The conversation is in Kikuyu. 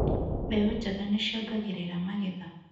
Mbeũ njega nĩ ciongagĩrĩra magetha.